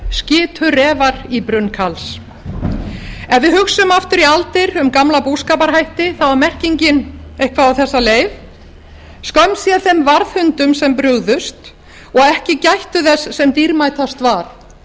skitu refar í brunn karls ef við hugsum aftur í aldir um gamla búskaparhætti þá er merkingin eitthvað á þessa leið skömm sé þeim varðhundum sem brugðust og ekki gættu þess sem dýrmætast var